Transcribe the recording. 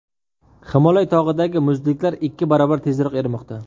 Himolay tog‘idagi muzliklar ikki barobar tezroq erimoqda.